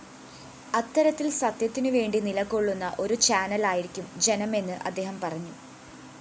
അത്തരത്തില്‍ സത്യത്തിനുവേണ്ടി നിലകൊള്ളുന്ന ഒരു ചാനലായിരിക്കും ജനമെന്നും അദ്ദേഹം പറഞ്ഞു